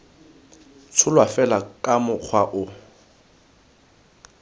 tsholwa fela ka mokgwa o